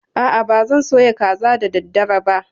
A'a, ba zan soya kaza da daddare ba.